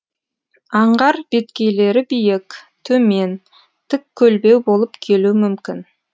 аңғар беткейлері биік төмен тік көлбеу болып келуі мүмкін